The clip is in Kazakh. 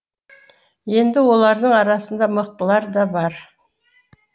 енді олардың арасында мықтылар да бар